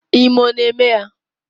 Ime ọ na eme ya?